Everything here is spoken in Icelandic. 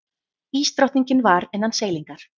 Ísdrottningin var innan seilingar.